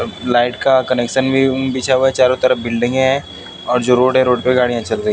light का connection भी बिछा हुआ है दोनों तरफ बिल्डिंगे है और जो रोड है रोड पर गाड़ियां चल रही--